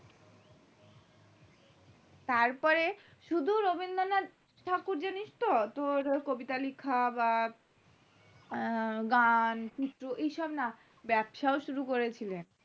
তারপর শুধু রবীন্দ্রনাথ ঠাকুর জানিস তো তোর কবিতা লেখা বা গান চিত্র এইসব না ব্যাবসাও শুরু করেছিল